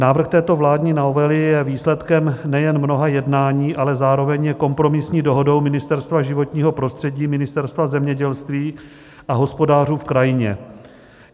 Návrh této vládní novely je výsledkem nejen mnoha jednání, ale zároveň je kompromisní dohodou Ministerstva životního prostředí, Ministerstva zemědělství a hospodářů v krajině.